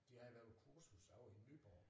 De havde været på kursus ovre i Nyborg